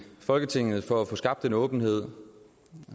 folketinget altså for at få skabt en åbenhed